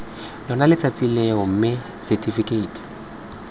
lona letsatsi leo mme setifikeiti